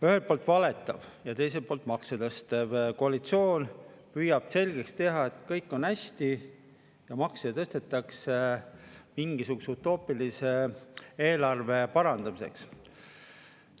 Ühelt poolt valetav ja teiselt poolt makse tõstev koalitsioon püüab selgeks teha, et kõik on hästi ja makse tõstetakse mingisuguse utoopilise eelarve parandamiseks.